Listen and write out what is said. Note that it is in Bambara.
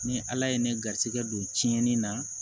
Ni ala ye ne garijɛgɛ don tiɲɛni na